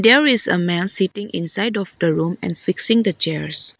there is a man sitting inside of the room and fixing the chairs.